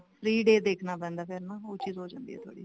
free day ਦੇਖਣਾ ਪੈਂਦਾ ਫੇਰ ਨਾ ਉਹ ਚੀਜ਼ ਹੋ ਜਾਂਦੀ ਆ ਥੋੜੀ ਜੀ